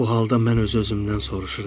Bu halda mən öz-özümdən soruşuram.